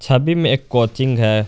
छवि में एक कोचिंग है।